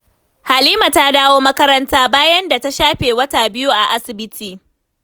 Halima ta dawo makaranta, bayan da ta shafe wata 2 a asibiti.